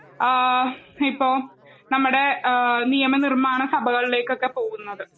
ആ ഇപ്പോ നമ്മടെ ഏഹ് നിയമനിർമാണ സഭകളിലേക്കൊക്കെ പോകുന്നത്.